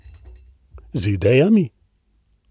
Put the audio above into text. Z idejami?